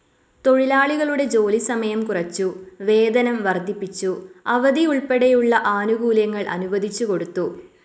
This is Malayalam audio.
തൊഴിലാളികളുടെ ജോലി സമയം കുറച്ചു, വേതനം വർദ്ധിപ്പിച്ചു, അവധി ഉൾപ്പെടെയുള്ള ആനുകൂല്യങ്ങൾ അനുവദിച്ചുകൊടുത്തു.